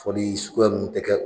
Foli sugu nunnu te kɛ